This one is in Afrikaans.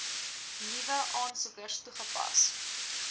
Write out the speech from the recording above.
nuwe aansoekers toegepas